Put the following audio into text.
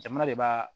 Jamana de b'a